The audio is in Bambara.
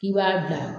K'i b'a bila